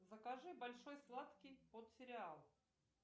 закажи большой сладкий под сериал